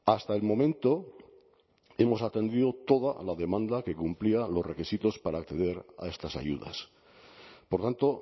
hasta el momento hemos atendido toda la demanda que cumplía los requisitos para acceder a estas ayudas por tanto